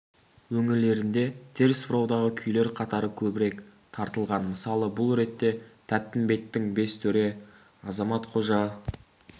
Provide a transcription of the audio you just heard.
өңірлерінде теріс бұраудағы күйлер қатары көбірек тартылған мысалы бұл ретте тәттімбеттің бес төре азамат қожа